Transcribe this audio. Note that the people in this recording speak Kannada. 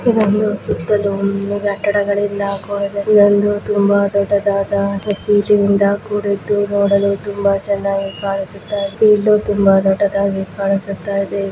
ಇದೊಂದು ಸುತ್ತಲೂ ಕಟ್ಟಡಗಳಿಂದ ಕೂಡಿದ ಇದೊಂದು ತುಂಬಾ ದೊಡ್ಡದಾದ ಬಿಲ್ಡಿಂಗ್ ಇಂದ ಕೂಡಿದ್ ನೋಡಲು ತುಂಬಾ ದೊಡ್ಡದಾಗಿ ಕಾಣಿಸುತ್ತಿದೆ.